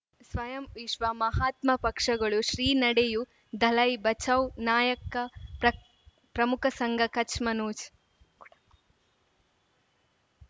ಸ್ವಯಂ ವಿಶ್ವ ಮಹಾತ್ಮ ಪಕ್ಷಗಳು ಶ್ರೀ ನಡೆಯೂ ದಲೈ ಬಚೌ ನಾಯಕ ಪ್ರಕ್ ಪ್ರಮುಖ ಸಂಘ ಕಚ್ ಮನೋಜ್